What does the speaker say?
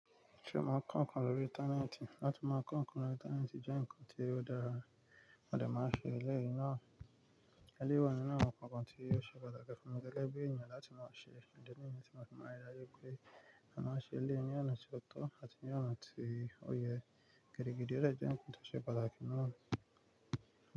Ṣé o màá n kọ ǹnkan lórí íńtánẹ́ẹ̀tì? Látí màá kọ ǹnkan lórí íńtánẹ́ẹ̀tì jẹ́ nǹkan tí ó dára, modẹ máa n ṣe eléyìí náà. Eléyi wa ninu àwọn ǹkankan tí o ṣe pàtàkì fún mi gẹ́gẹ́ bí eeyan láti mọ̀ ṣe, idi nìyẹn tí mo fi maa n rí daju pé àmáa ṣe ele ni ọ̀nà tí ó tó àti ní ọ̀nà tí ó yẹ. Gẹdegede ọ̀ de jẹ́ nkan ti o ṣe pàtàkì náà.